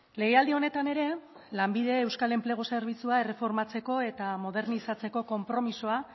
legealdi honetan ere lanbide euskal enplegu zerbitzua erreformatzeko eta modernizatzeko konpromisoa